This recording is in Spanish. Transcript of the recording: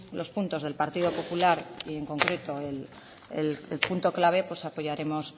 los puntos del partido popular y en concreto el punto clave apoyaremos